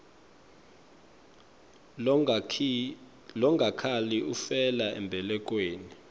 longakhali ufela embelekweni